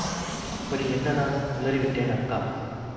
அப்படி என்ன நான் உளறி விட்டேன் அக்கா